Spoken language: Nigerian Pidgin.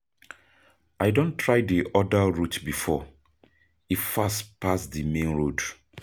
I don try di other route before, e fast pass di main road.